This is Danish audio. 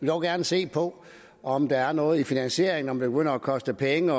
dog gerne se på om der er noget i finansieringen om det begynder at koste penge